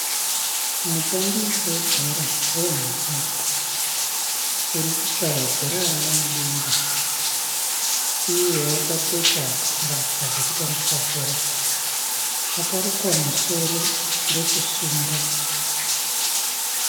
Mutambi webhora renhabvu urikukava bhora rava mudenga. Iye wakapfeka mbatya dzekutambisa bhora. Akarukwa musoro ndokusunga.